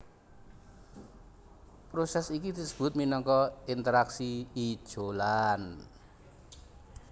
Prosès iki disebut minangka interaksi ijolan